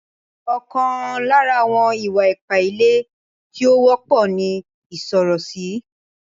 Ọkan lára àwọn ìwà-ipá ilé tí ó wọ́pọ̀ ní ìsọ̀rọ̀sí.